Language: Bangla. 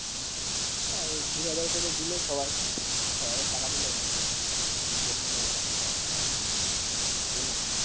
হ্যাঁ এই দুহাজার করে দিলে সবার সবার সারাদিনের হয়ে যাবে তিনজন গেলে এগারোশ